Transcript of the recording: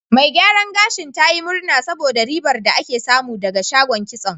Mai gyaran gashin ta yi murna saboda ribar da ake samu ɗaga shagon kitson.